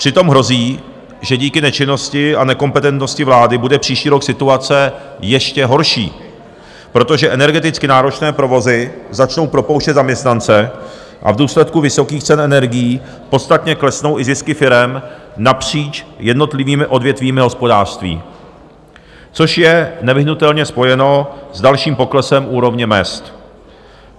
Přitom hrozí, že díky nečinnosti a nekompetentnosti vlády bude příští rok situace ještě horší, protože energeticky náročné provozy začnou propouštět zaměstnance a v důsledku vysokých cen energií podstatně klesnou i zisky firem napříč jednotlivými odvětvími hospodářství, což je nevyhnutelně spojeno s dalším poklesem úrovně mezd.